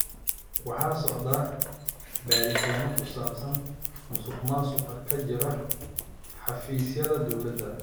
Waxaa socda baaritaanno ku saabsan musuqmaasuqa ka jira xafiisyada dowladda.